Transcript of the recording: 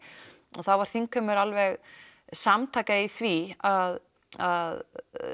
og þá var þingheimur alveg samtaka í því að að